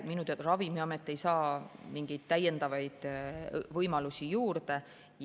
Minu teada Ravimiamet ei saa mingeid täiendavaid võimalusi juurde.